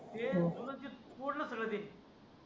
ते तोडलं सगळं ते